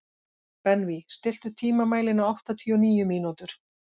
Benvý, stilltu tímamælinn á áttatíu og níu mínútur.